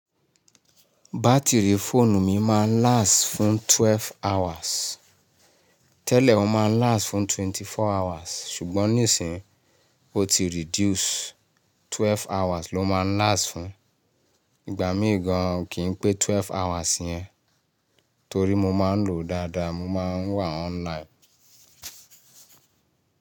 Batiri foonu mi maa n last fun 12 hours, tele o maa n last fun 24 hours sugbon ni sin n o ti reduce Twelve hours ló máa ń last fún. Ìgbà mí gan an kì n pé twelve hours yẹn torí mo máa ń lòó dáadáa, mo ma ń wà online.